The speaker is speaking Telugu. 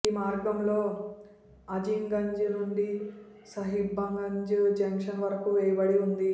ఈ మార్గంలో అజింగంజ్ నుండి సాహిబ్గంజ్ జంక్షన్ వరకు వేయబడి ఉంది